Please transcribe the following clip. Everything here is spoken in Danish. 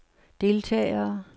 deltagere